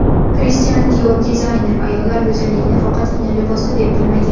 Kristian Dior Dizayner ayollar go‘zalligini faqatgina libosda deb bilmagan.